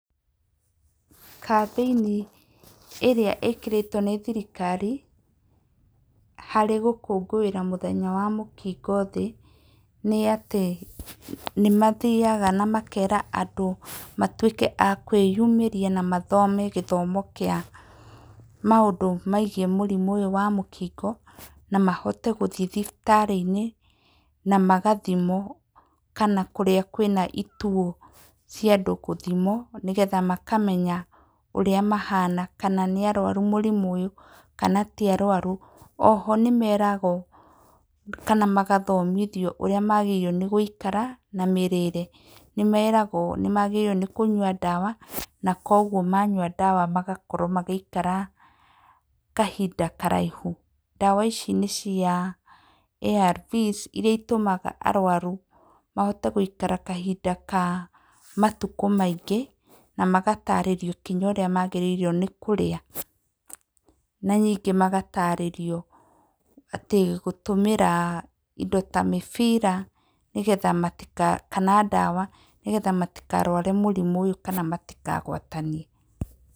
Kambĩini ĩrĩa ĩkĩrĩtwo nĩ thirikari harĩ gũkũngũĩra mũthenya wa mũkingo thĩ nĩ atĩ, nĩmathiyaga na makera andũ atĩ matuĩke a kwĩyumĩria na mathome gĩthomo kĩa maũndũ megiĩ mũrimũ ũyũ wa mũkingo na mahote gũthiĩ thibitarĩinĩ na magathimwo, kana kũrĩa kwĩna ituo cia andũ gũthimwo nĩgetha makamenya ũrĩa mahana kana nĩ arwaru mũrimũ ũyũ kana ti arwaru. O ho nĩmeragwo kana magathomithio ũrĩa magĩrĩirwo nĩ gũikara na mĩrĩre. Nĩmeragwo nĩmagĩrire kũnyua ndawa na koguo manyua ndawa magakorwo magĩikara kahinda karaihu. Ndawa ici nĩ cia ARVs iria itũmaga arwaru mahote gũikara kahinda kaa matuko maingĩ na magatarĩrio kinya ũria magĩrĩirwo nĩ kũrĩa. Na ningĩ magatarĩrio gũtũmĩra indo ta mĩbira kana ndawa nigetha matikarware mũrimũ ũyũ kana matikagwatanie.